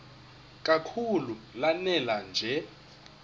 kakhulu lanela nje